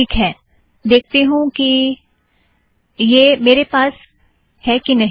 ठीक है देखती हूँ कि यह मेरे पास है कि नहीं